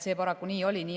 See paraku nii oli.